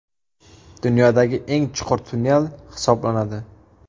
Dunyodagi eng chuqur tunnel hisoblanadi.